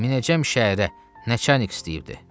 Minəcəm şəhərə nə çənik istəyirdi.